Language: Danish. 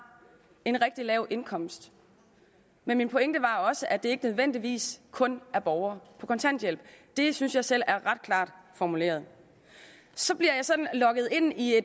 en rigtig lav indkomst men min pointe var også at det ikke nødvendigvis kun er borgere på kontanthjælp det synes jeg selv er ret klart formuleret så bliver jeg så lokket ind i